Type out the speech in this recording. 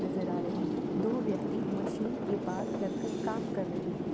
नजर आ रही है। दो व्यक्ति मशीन के पास लग कर काम कर रहे हैं।